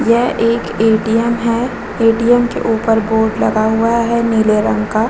यह एक ए.टी.एम. है ए.टी.एम. के ऊपर बोर्ड लगा हुआ है नील रंग का।